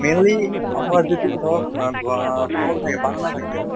mainly আপোনাৰ যিটো ধৰক আহ কল থাকে banana থাকে মানে